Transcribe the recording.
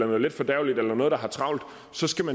noget letfordærveligt eller noget der har travlt